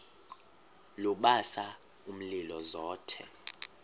lubasa umlilo zothe